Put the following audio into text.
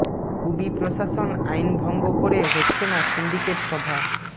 কুবি প্রশাসন আইন ভঙ্গ করে হচ্ছে না সিন্ডিকেট সভা